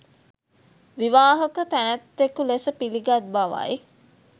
විවාහක තැනැත්තෙකු ලෙස පිළිගත් බවයි.